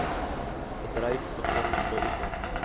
bedryf begin beoefen